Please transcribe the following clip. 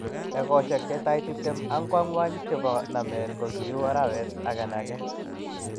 Egosiek chetai tiptem ak angwany chebo nameet ko kiuu arawet agenege